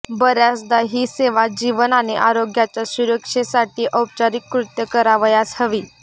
बर्याचदा ही सेवा जीवन आणि आरोग्याच्या सुरक्षेसाठी औपचारिकृत करावयास हवी